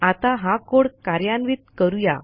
आता हा कोड कार्यान्वित करू या